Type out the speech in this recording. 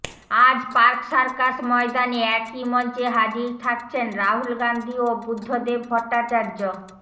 আজ park circus ময়দানে একই মঞ্চে হাজির থাকছেন রাহুল গান্ধী ও বুদ্ধদেব ভট্টাচার্য